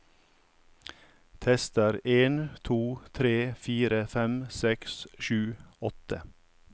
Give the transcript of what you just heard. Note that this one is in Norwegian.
Tester en to tre fire fem seks sju åtte